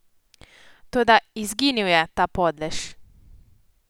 Toda izginil je, ta podlež!